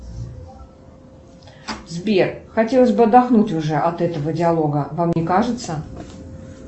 сбер хотелось бы отдохнуть уже от этого диалога вам не кажется